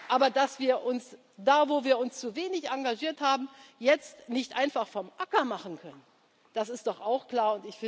dazu. Aber dass wir uns da, wo wir uns zu wenig engagiert haben, jetzt nicht einfach vom Acker machen können, das ist doch auch